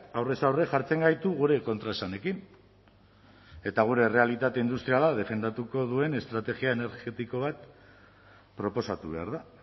aurrez aurre jartzen gaitu gure kontraesanekin eta gure errealitate industriala defendatuko duen estrategia energetiko bat proposatu behar da